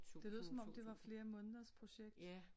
Det lød som om det var flere måneders projekt